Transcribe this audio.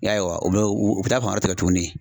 I y'a ye wa u bɛ u bɛ taa fan wɛrɛ tigɛ tuguni.